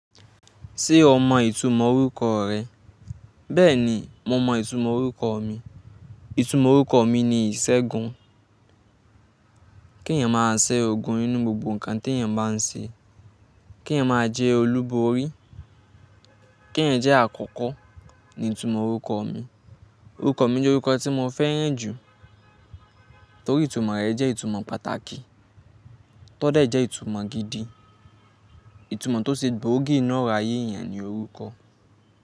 Ṣé o mọ ìtumọ̀ orúkọ rẹ? Bẹ́ẹ̀ni, mo mọ ìtumọ̀ orúkọ mi. Ìtumọ̀ orúkọ mi ni ìṣègùn. Kí èèyàn máa ṣe ogun nínú gbogbo nǹkan tí èèyàn baa ń ṣe. Kí èèyàn máa jẹ́ olúborí. Kí èèyàn jẹ́ àkọ́kọ́ ni ìtumọ̀ orúkọ mi. Orúkọ mi jẹ́ orúkọ tí mo fẹ́ràn jù torí ìtumọ̀ rẹ̀ jẹ́ ìtumọ̀ pàtàkì. Tọ́dẹ́ jẹ́ ìtumọ̀ gidi. Ìtumọ̀ tó ṣe gbòógì inu ọrọ ayé èèyàn ní orúkọ.